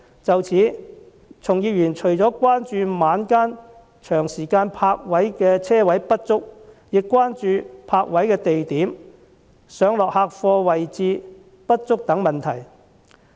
就此，從業員除了關注晚間長時間停泊車位不足，亦關注泊位的地點、上落客貨位置不足等問題。